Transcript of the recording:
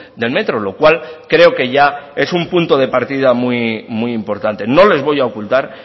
del metro lo cual creo que ya es un punto de partida muy importante no les voy a ocultar